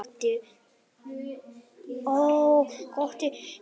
Kirkja við fáfarna götu, hvítmáluð með alltof litlum gluggum og krossi á báðum göflum.